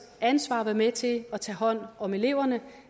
ansvar at være med til at tage hånd om eleverne